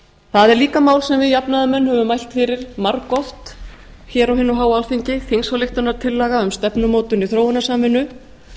það er líka mál sem við jafnaðarmenn höfum mælt fyrir margoft hér á hinu háa alþingi þingsályktunartillaga um stefnumótun í þróunarsamvinnu